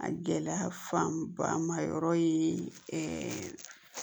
A gɛlɛya fanba ma yɔrɔ ye